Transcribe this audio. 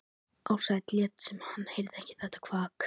Ársæll lét sem hann heyrði ekki þetta kvak.